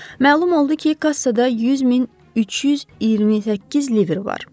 Məlum oldu ki, kassada 100328 livr var.